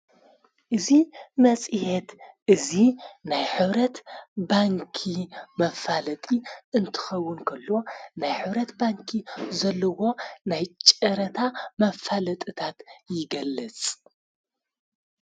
እዙ መጺሔት እዙ ናይ ኅብረት ባንኪ መፋለጢ እንትኸውንከሎ ናይ ኅብረት ባንኪ ዘለዎ ናይ ጨረታ መፋለጥታት ይገለጽ::